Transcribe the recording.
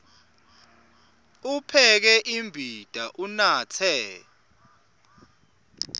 upheke imbita unatse